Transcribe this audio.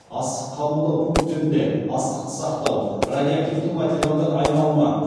астық қабылдау пункттерінде астықты сақтау радиоактивті материалдар айналымы